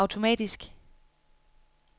automatisk